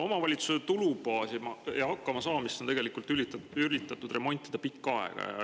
Omavalitsuste tulubaasi ja hakkamasaamist on tegelikult üritatud remontida pikka aega.